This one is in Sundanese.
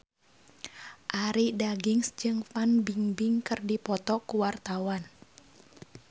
Arie Daginks jeung Fan Bingbing keur dipoto ku wartawan